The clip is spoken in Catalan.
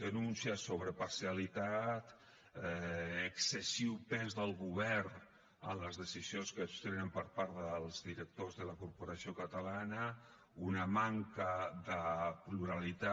denúncies sobre parcialitat excessiu pes del govern en les decisions que es prenen per part dels directors de la corporació catalana una manca de pluralitat